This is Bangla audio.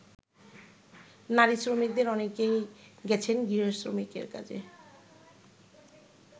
নারী শ্রমিকদের অনেকেই গেছেন গৃহ-শ্রমিকের কাজে।